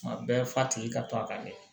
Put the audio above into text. Tuma bɛɛ fa tigi ka to a ka kɛ